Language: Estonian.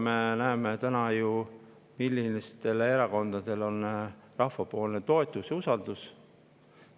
Me ju näeme, millistel erakondadel on rahva toetus ja usaldus.